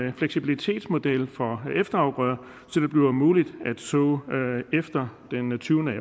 en fleksibilitetsmodel for efterafgrøder så det bliver muligt at så efter den tyvende